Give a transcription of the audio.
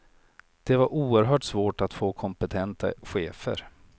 Det var oerhört svårt att få kompetenta chefer.